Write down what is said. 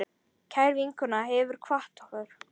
Kær vinkona hefur kvatt okkur.